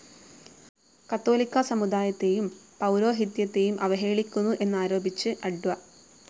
കത്തോലിക്കാ സമുദായത്തേയും പൗരോഹിത്യത്തേയും അവഹേളിക്കുന്നു എന്നാരോപിച്ച് അഡ്വ.